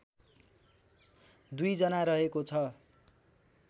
२ जना रहेको छ